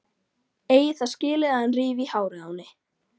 Eigi það skilið að hann rífi í hárið á henni.